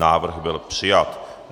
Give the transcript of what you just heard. Návrh byl přijat.